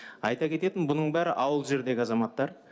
айта кететін бұның бәрі ауылды жердегі азаматтар